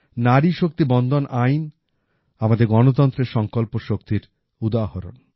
নারী শক্তি বন্দন আইন আমাদের গণতন্ত্রের সংকল্প শক্তির উদাহরণ